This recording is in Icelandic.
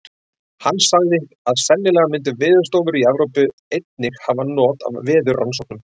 Hann sagði, að sennilega myndu veðurstofur í Evrópu. einnig hafa not af veðurrannsóknunum.